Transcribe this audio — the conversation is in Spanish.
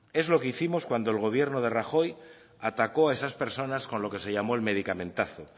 es lo que hicimos cuando el gobierno de rajoy atacó a esas personas con lo que se llamó el medicamentazo